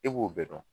E b'o bɛɛ dɔn